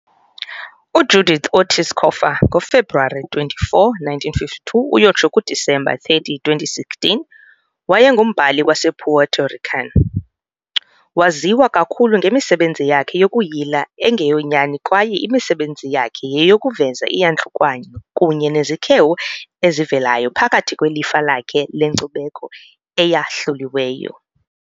UJudith Ortiz Cofer, ngoFebruwari 24, 1952 - Disemba 30, 2016, wayengumbhali wasePuerto Rican. Waziwa kakhulu ngemisebenzi yakhe yokuyila engeyonyani kwaye imisebenzi yakhe yeyokuveza iiyantlukwano kunye nezikhewu ezivelayo phakathi kwelifa lakhe lenkcubeko eyahluliweyo.